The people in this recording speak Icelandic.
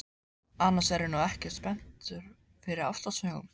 Annars er ég nú ekkert spenntur fyrir ástarsögum.